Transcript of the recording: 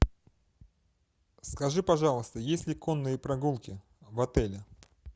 скажи пожалуйста есть ли конные прогулки в отеле